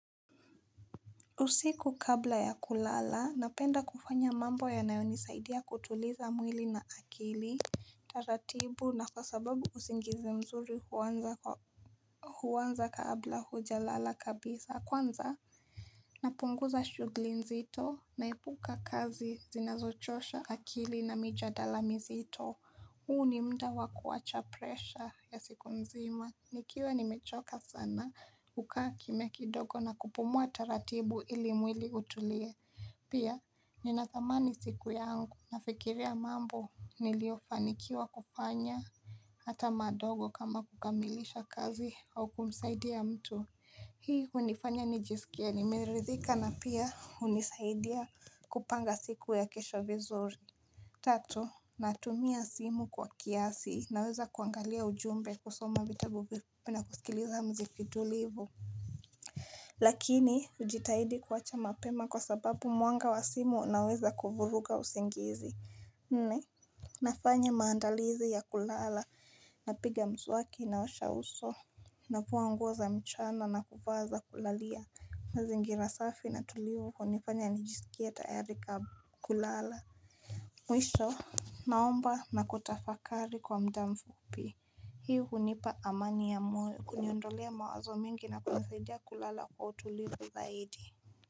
Usiku kabla ya kulala, napenda kufanya mambo yanayonisaidia kutuliza mwili na akili taratibu na kwa sababu usingizi mzuri huwanza kabla hujalala kabisa Kwanza, napunguza shugli nzito, naepuka kazi zinazochosha akili na mijadala mzito huu ni mda wa kuwacha presha ya siku mzima Nikiwa nimechoka sana hukaa kimya kidogo na kupumua taratibu ili mwili utulie Pia ninathamani siku yangu nafikiria mambo niliofanikiwa kufanya Hata madogo kama kukamilisha kazi au kumsaidia mtu Hii hunifanya nijisikie nimeridhika na pia unisaidia kupanga siku ya kesho vizuri Tatu, natumia simu kwa kiasi naweza kuangalia ujumbe kusoma vitabu pia na kusikiliza mziki tulivu Lakini, hujitahidi kuwacha mapema kwa sababu mwanga wa simu unaweza kuvuruga usingizi Nne, nafanya maandalizi ya kulala napiga mswaki naosha uso Navuwa nguo za mchana na kuvaa za kulalia mazingira safi na tulivu hunifanya nijisikie tayari kulala Mwisho, naomba na kutafakari kwa mda mfupi Hii hunipa amani ya moyo kuniondolea mawazo mingi na kunisaidia kulala kwa utulivu zaidi.